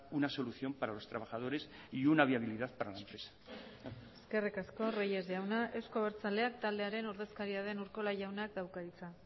una solución para los trabajadores y una viabilidad para la empresa nada más eskerrik asko reyes jauna euzko abertzaleak taldearen ordezkaria den urkola jaunak dauka hitza